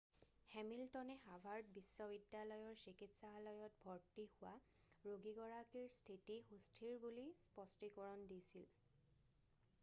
হেমিল্টনে Harvard বিশ্ববিদ্যালয়ৰ চিকিৎসালয়ত ভৰ্ত্তি হোৱা ৰোগীগৰাকীৰ স্থিতি সুস্থিৰ বুলি স্পষ্টীকৰণ দিছিল